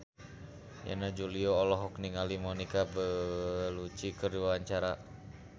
Yana Julio olohok ningali Monica Belluci keur diwawancara